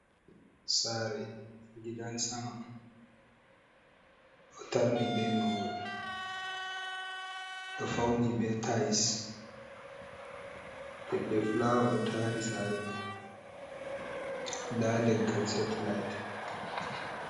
"Saare"gidansama ɗo tarni be mahol ɗo fauni be tailse leɗɗe fulaawa ɗo tari saare mai nda leggal setlait.